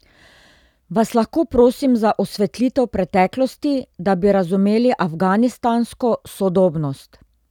Vas lahko prosim za osvetlitev preteklosti, da bi razumeli afganistansko sodobnost?